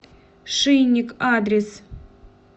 шинник адрес